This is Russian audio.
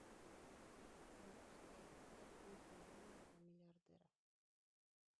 запускай как выйти замуж за миллиардера